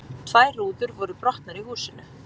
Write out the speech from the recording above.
Tvær rúður voru brotnar í húsinu